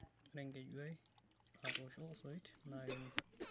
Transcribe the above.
Ore enkeju ai naatosho osoit naa keme.